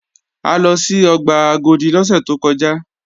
A lọ sí ọgbà Agodi lọ́sẹ̀ tó kọjá